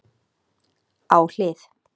Á hlið